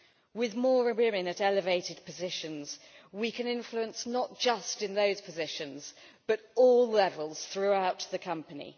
With more women in elevated positions we can exert influence not just in those positions but at all levels throughout the company.